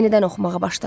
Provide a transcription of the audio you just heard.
Yenidən oxumağa başladı.